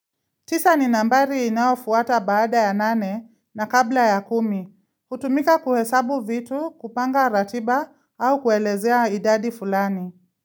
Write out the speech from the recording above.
Tisa ni nambari inafuata baada ya nane na kabla ya kumi, hutumika kuhesabu vitu, kupanga ratiba au kuelezea idadi fulani.